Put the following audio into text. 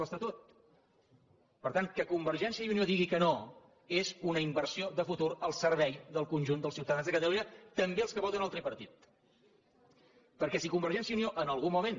l’estatut per tant que convergència i unió digui que no és una inversió de futur al servei del conjunt dels ciutadans de catalunya també dels que voten el tripartit perquè si convergència i unió en algun moment